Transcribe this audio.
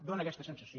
fa aquesta sensació